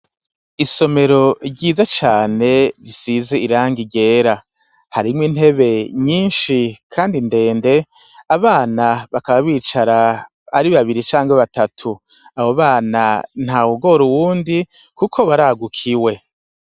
Isomero ryiza cane risize irangi ryera. Harimwo intebe nyishi kandi ndende abana bakaba bicara ari babiri canke batatu. Abo bana ntawugora uwundi kuko baragukiwe.